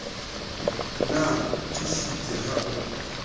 na o tiisitse ha o